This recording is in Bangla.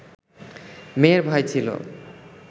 মেয়ের ভাই ছিল